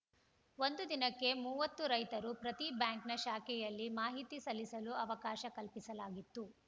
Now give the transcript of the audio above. ಒಂದು ದಿನಕ್ಕೆ ಮೂವತ್ತು ರೈತರು ಪ್ರತಿ ಬ್ಯಾಂಕ್‌ನ ಶಾಖೆಯಲ್ಲಿ ಮಾಹಿತಿ ಸಲ್ಲಿಸಲು ಅವಕಾಶ ಕಲ್ಪಿಸಲಾಗಿತ್ತು